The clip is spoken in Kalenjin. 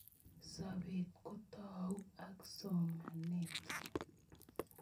Sobet kutou ak somanet